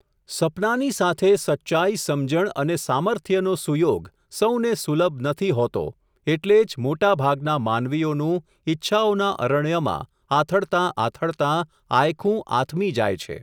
સપનાંની સાથે સચ્ચાઈ, સમજણ અને સામર્થ્યનો સુયોગ, સૌને સુલભ નથી હોતો, એટલે જ મોટાભાગના માનવીઓનું, ઈચ્છાઓના અરણ્યમાં, આથડતાં આથડતાં, આયખું આથમી જાય છે.